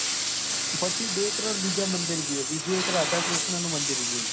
પછી બે ત્રણ બીજા મંદિર જોયા બીજું એક રાધા કૃષ્ણ નું મદિર જોયું